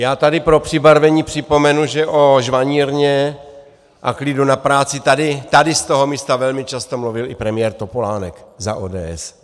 Já tady pro přibarvení připomenu, že o žvanírně a klidu na práci tady z toho místa velmi často mluvil i premiér Topolánek za ODS.